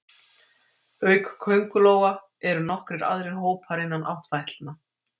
Auk köngulóa eru nokkrir aðrir hópar innan áttfætlna.